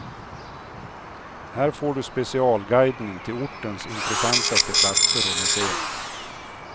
Här får du specialguidning till ortens intressantaste platser och museum.